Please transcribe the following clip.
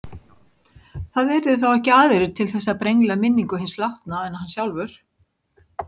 Það yrðu þá ekki aðrir til þess að brengla minningu hins látna en hann sjálfur.